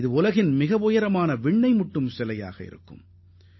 இதுவே உலகின் மிக உயர்ந்த விண்ணை முட்டும் சிலையாகத் திகழும்